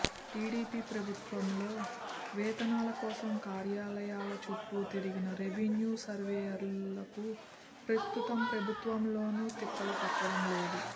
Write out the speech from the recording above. TDP ప్రభుత్వంలో వేతనాల కోసం కార్యాలయాల చుట్టూ తిరిగిన రెవెన్యూ సర్వేయర్లకు ప్రస్తుత ప్రభుత్వంలోనూ తిప్పలు తప్పడం లేదు